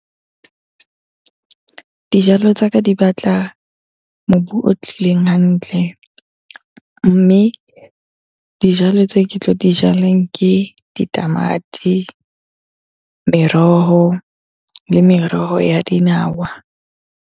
Dijalo tsa ka di batla mobu o tlileng hantle, mme dijalo tse ke tlo dijaleng ke ditamati, meroho le meroho ya dinawa.